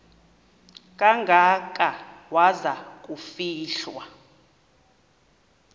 kangaka waza kufihlwa